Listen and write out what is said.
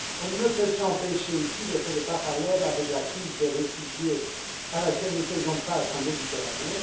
On ne peut s'empêcher ici de faire le parallèle avec la crise des réfugiés à laquelle nous faisons face en Méditerranée.